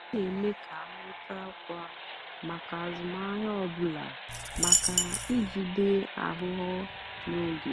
m nà-èmékà nwétá ọ́kwá màkà àzụ́mahìá ọ́ bụ́là màká ìjìdé àghụ́ghọ́ n'ógè.